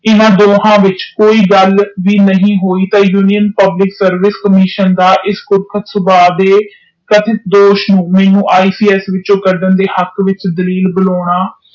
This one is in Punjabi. ਹਨ ਦੋਹਾ ਵਿਚ ਕੋਈ ਗੱਲ ਵੀ ਨਹੀਂ ਹੋਈ ਤੇ ਯੂਨੀਓਂ ਪਬਲਿਕ ਸਰਵਿਸ ਕੰਮਿਸ਼ਨ ਮੇਨੂ ਈਏ ਪੀ ਇਸ ਦੇ ਹਕ਼ ਚੋ ਕਢਣਾ ਦੇ ਹਕ਼ ਵਿਚ ਦਲੀਲ ਬਣਾਉਣਾ।